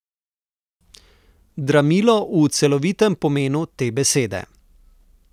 Dramilo v celovitem pomenu te besede.